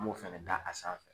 An m'o fɛnɛ da a sanfɛ